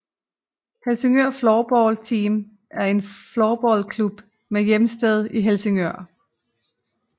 Helsingør Floorball Team er en floorballklub med hjemsted i Helsingør